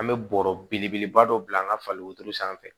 An bɛ bɔrɔ belebeleba dɔ bila an ka fali wotoro sanfɛ